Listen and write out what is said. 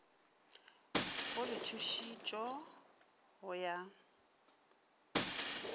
go le tšhutišo go ya